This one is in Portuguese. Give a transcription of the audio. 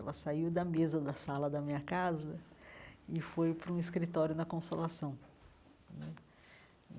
Ela saiu da mesa da sala da minha casa e foi para um escritório na Consolação né.